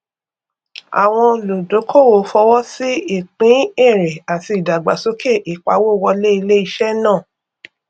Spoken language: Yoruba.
àwọn olùdókówó fọwọsí ìpín èrè àti ìdàgbàsókè ìpawó wọlé iléiṣẹ náà